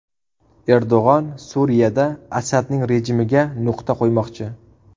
Erdo‘g‘on Suriyada Asadning rejimiga nuqta qo‘ymoqchi.